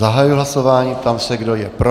Zahajuji hlasování, ptám se, kdo je pro.